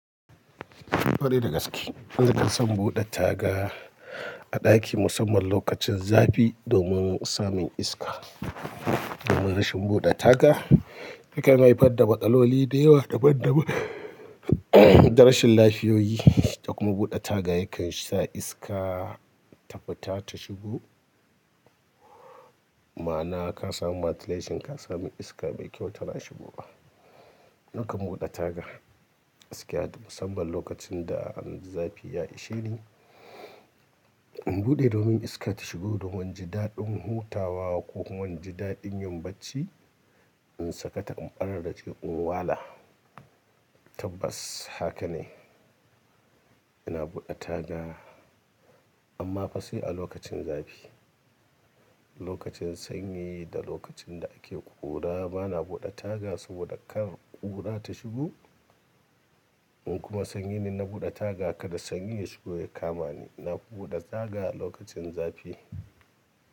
Fari da gaske, zan san buɗe taga a ɗaki musamman lokacin zafi domin samun iska. Domin rashin buɗe taga yakan haifar da matsaloli da yawa daban daban, da rashin lafiyoyi da kuma buɗe taga yakan sa iska ta fita ta shigo. Ma'ana ka samu matile shin ka sami iska bai kyau tana shigo ba. Nakan buɗe taga gaskiya musamman lokacin da zafi ya ishe ni, in buɗe domin iska ta shigo domin wani jiɗaɗin hutawa ko wani jiɗaɗin yin bacci, in saka ta in ɓare dashi in wala. Tabbas haka ne, ina buɗe taga amma fasai a lokacin zafi. Lokacin sanyi da lokacin da ake ƙura bana buɗe taga saboda kar ƙura ta shigo. In kuma sanyi ne na buɗe taga ka da sanyi ya shigo ya kama ni, na buɗe taga a lokacin zafi.